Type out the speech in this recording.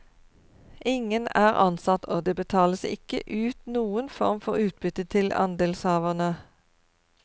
Ingen er ansatt, og det betales ikke ut noen form for utbytte til andelshaverne.